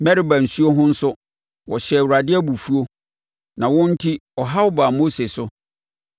Meriba nsuo ho nso, wɔhyɛɛ Awurade abufuo, na wɔn enti, ɔhaw baa Mose so,